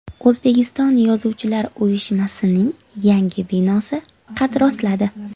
O‘zbekiston yozuvchilar uyushmasining yangi binosi qad rostladi.